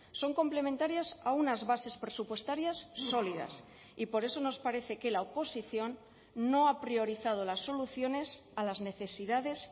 son complementarias a unas bases presupuestarias sólidas y por eso nos parece que la oposición no ha priorizado las soluciones a las necesidades